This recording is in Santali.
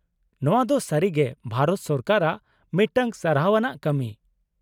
-ᱱᱚᱶᱟ ᱫᱚ ᱥᱟᱹᱨᱤᱜᱮ ᱵᱷᱟᱨᱚᱛ ᱥᱚᱨᱠᱟᱨᱟᱜ ᱢᱤᱫᱴᱟᱝ ᱥᱟᱨᱦᱟᱣ ᱟᱱᱟᱜ ᱠᱟᱹᱢᱤ ᱾